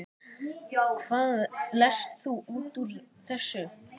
Hvað lest þú út úr þessu?